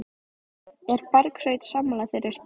Er Bergsveinn sammála þeirri spá?